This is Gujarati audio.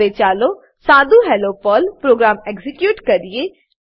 હવે ચાલો સાદું હેલ્લો પર્લ પ્રોગ્રામ એક્ઝીક્યુટ કરીએ